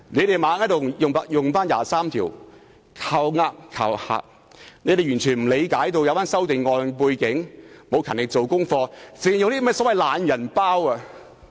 他們不斷用《基本法》第二十三條"靠呃"、"靠嚇"，完全不理解有關修訂建議的背景，也沒有勤力做功課，只靠那些所謂"懶人包"。